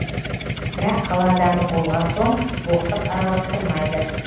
бірақ қала адамы болған соң боқтық араластырмайды